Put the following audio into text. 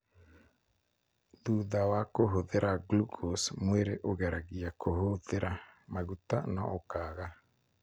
Thutha wa kũhũthĩra glucose, mwĩrĩ ũgeragia kũhũthĩra maguta no ũkaaga.